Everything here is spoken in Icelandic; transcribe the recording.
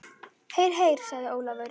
Heyr, heyr sagði Ólafur.